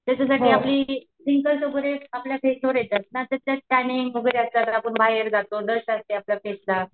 त्याच्यासाठी आपली पिंपल्स वगैरे आपल्या फेसवर येतात ना त्याच्या टॅनिंग वगैरे येतात आपण बाहेर जातो डस्ट असते आपल्या फेसला